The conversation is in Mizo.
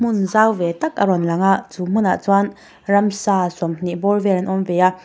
hmun zau ve tak a rawn lang a chu hmunah chuan ramsa sawmhnih bawr vel an awm ve a.